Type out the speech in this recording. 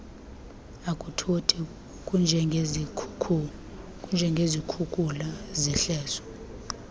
akuthothi kunjengezikhukula zehlobo